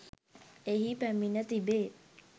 එහි පැමිණ තිබේ